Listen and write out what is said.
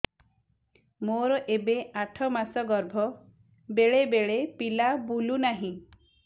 ମୋର ଏବେ ଆଠ ମାସ ଗର୍ଭ ବେଳେ ବେଳେ ପିଲା ବୁଲୁ ନାହିଁ